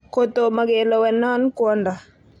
Kotoma kelewen non kwondo.